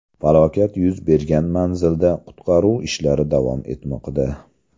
Falokat yuz bergan manzilda qutqaruv ishlari davom etmoqda.